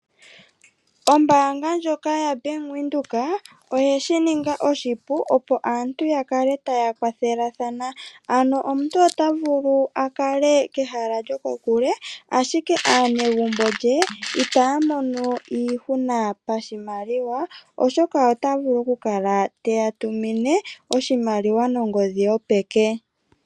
Ombaanga ndjoka yaBank Windhoek oye shininga oshipu opo aantu yakale taya kwathelathana. Omuntu ota vulu akale kehala lyokokule ashike aanegumbo lye itaya mono iihuna pashimaliwa, oshoka ota vulu okukala teya tumine oshimaliwa nongodhi yopeke.